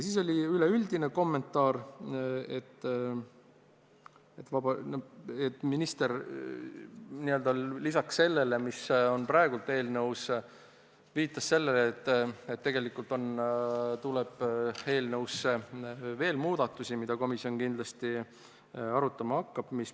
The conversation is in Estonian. Üldise kommentaarina viitas minister ka, et lisaks sellele, mis on praegu eelnõus, tuleb eelnõus veel muudatusi, mida komisjongi kindlasti arutama hakkab.